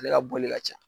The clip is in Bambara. Ale ka boli ka ca